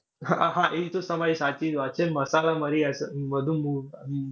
હા હા. એ તો તમારી સાચી જ વાત છે. મસાલા-મરી add વધુ